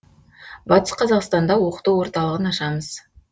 батыс қазақстанда оқыту орталығын ашамыз